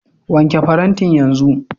Wanke farantin yanzu.